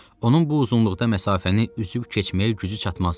Onun bu uzunluqda məsafəni üzüb keçməyə gücü çatmazdı.